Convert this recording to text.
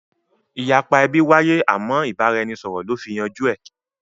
Ìyapa ẹbí wáyé àmọ́ ìbára-ẹni-sọ̀rọ̀ lọ fi yanjú ẹ